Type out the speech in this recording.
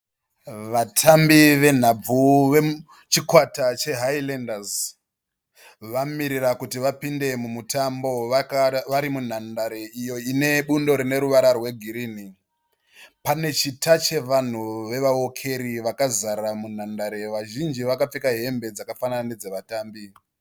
Vatambi venhabvu vechikwata che"Highlanders," vamirira kuti vapinde mumutambo vari munhandare iyo ine bundo rine ruvara rwegirini. Pane chita chevanhu vevawokeri vakazara munhandare, vazhinji vakapfeka hembe dzakafanana nedzevatambi.